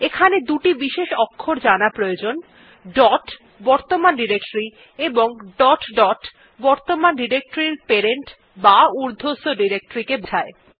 এখানে দুটি বিশেষ অক্ষর জানা প্রয়োজন dot বর্তমান ডিরেক্টরী এবং ডট ডট বর্তমান ডিরেক্টরীর প্যারেন্ট বা উর্ধ্বস্থ ডিরেক্টরীকে বোঝায়